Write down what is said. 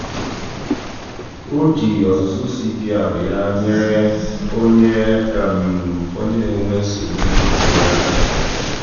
o ji ọzụzụ cpr ya nyere onye onye na-enwe nsogbu n'iku ume aka.